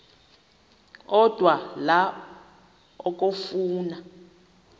odwa la okafuna